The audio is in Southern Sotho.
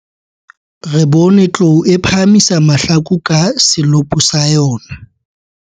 Re bone tlou e phahamisa mahlaku ka selopo sa yona.